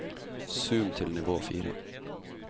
zoom til nivå fire